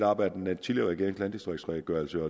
op af den tidligere regerings landdistriktsredegørelse